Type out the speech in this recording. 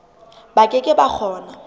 ba ke ke ba kgona